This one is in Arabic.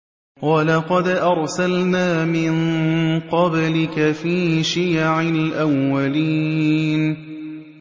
وَلَقَدْ أَرْسَلْنَا مِن قَبْلِكَ فِي شِيَعِ الْأَوَّلِينَ